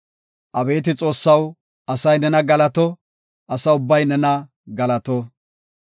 Abeeti Xoossaw, asay nena galato; asa ubbay nena galato.